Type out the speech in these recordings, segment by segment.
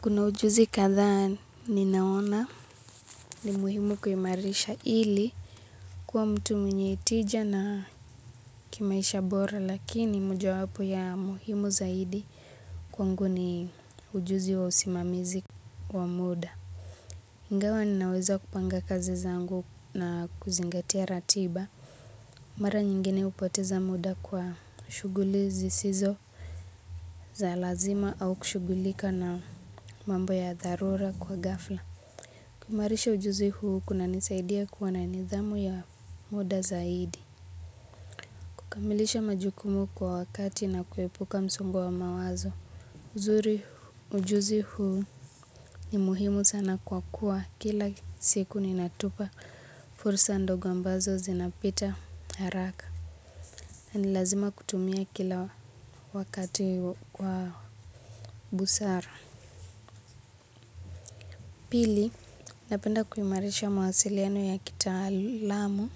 Kuna ujuzi kadhaa ninaona ni muhimu kuimarisha ili kuwa mtu mwenye hitija na kimaisha bora lakini mojawapo ya muhimu zaidi kwangu ni ujuzi wa usimamizi wa muda. Ingawa ninaweza kupanga kazi zangu na kuzingatia ratiba. Mara nyingine hupoteza muda kwa shughuli zisizo za lazima au kushughulika na mambo ya dharura kwa ghafla. Kuimarisha ujuzi huu kunanisaidia kuwa na nidhamu ya muda zaidi kukamilisha majukumu kwa wakati na kuepuka msongo wa mawazo uzuri ujuzi huu ni muhimu sana kwa kuwa kila siku ninatupa fursa ndogo ambazo zinapita haraka na ni lazima kutumia kila wakati kwa busara pili napenda kuimarisha mawasiliano ya kitaalamu.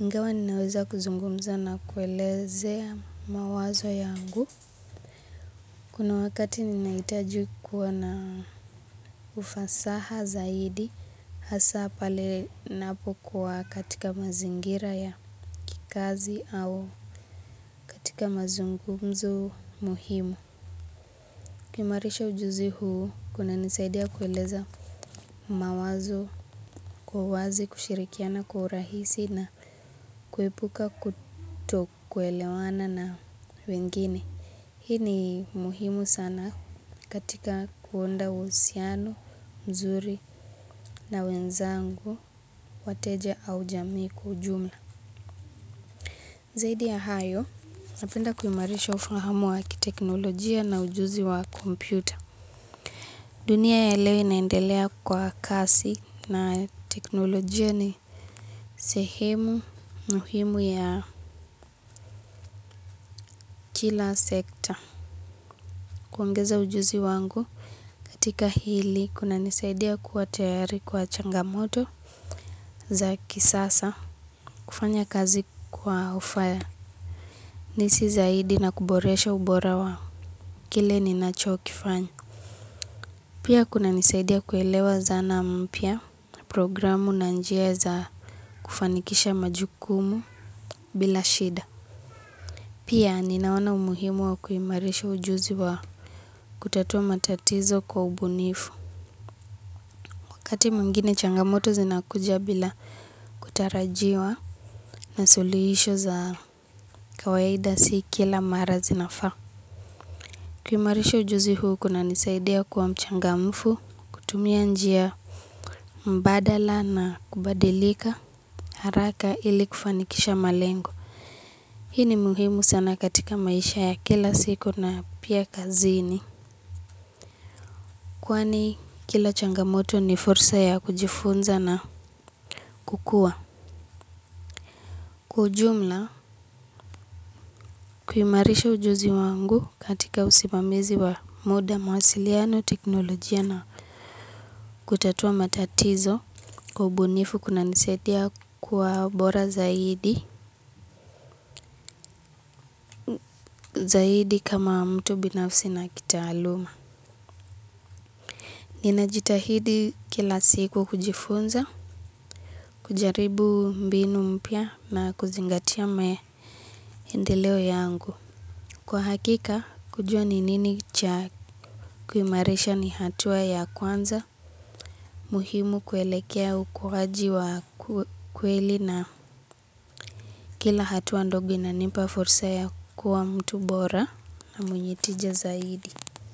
Ingawa ninaweza kuzungumza na kuelezea mawazo yangu. Kuna wakati ninahitajui kuwa na ufasaha zaidi. Hasa pale ninapokuwa katika mazingira ya kikazi au katika mazungumzo muhimu. Kuimarisha ujuzi huu kunanisaidia kuelezea mawazo kwa wazi kushirikiana kwa rahisi na kuepuka kutokuelewana na wengine. Hii ni muhimu sana katika kuunda uhusiano, mzuri na wenzangu, wateja au jamii kwa ujumla. Zaidi ya hayo, napenda kuimarisha ufahamu wa kiteknolojia na ujuzi wa kompyuta. Dunia yale inaendelea kwa kasi na teknolojia ni sehemu muhimu ya kila sekta. Kuongeza ujuzi wangu katika hili kunanisaidia kuwa tayari kwa changamoto za kisasa kufanya kazi kwa ufanisi zaidi na kuboresha ubora wa kile ninachokifanya. Pia kunanisaidia kuelewa zana mpya programu na njia za kufanikisha majukumu bila shida. Pia ninaona umuhimu wa kuimarisha ujuzi wa kutatua matatizo kwa ubunifu. Wakati mwingine changamoto zinakuja bila kutarajiwa na suluhisho za kawaida si kila mara zinafaa. Kuimarisha ujuzi huu kunanisaidia kuwa mchangamfu, kutumia njia mbadala na kubadilika haraka ili kufanikisha malengo. Hii ni muhimu sana katika maisha ya kila siku na pia kazini. Kwani kila changamoto ni fursa ya kujifunza na kukua. Kwa ujumla, kuimarisha ujuzi wangu katika usimamizi wa muda mawasiliano teknolojia na kutatua matatizo kwa ubunifu kunanisaidia kuwa bora zaidi, zaidi kama mtu binafsi na kitaaluma. Ninajitahidi kila siku kujifunza, kujaribu mbinu mpya na kuzingatia maendeleo yangu. Kwa hakika, kujua ni nini cha kuimarisha ni hatua ya kwanza, muhimu kuelekea ukuwaji wa kweli na kila hatua ndogo inanipa fursa ya kuwa mtu bora na mwenye tija zaidi.